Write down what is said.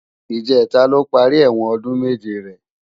Ijètá ló pàri èwòn òdún méjé rè